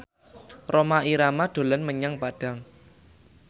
Rhoma Irama dolan menyang Padang